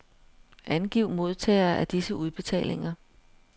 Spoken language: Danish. Angiv modtagere af disse udbetalinger.